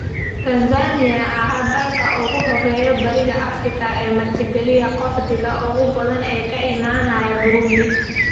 Tansaaniya ayaa ah dalka ugu horreeya bariga Afrika ee martigeliya qaxootiga ugu badan ee ka imaanaya Burundi.